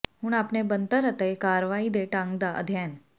ਹੁਣ ਆਪਣੇ ਬਣਤਰ ਅਤੇ ਕਾਰਵਾਈ ਦੇ ਢੰਗ ਦਾ ਅਧਿਐਨ